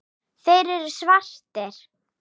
Þeir eru svartir.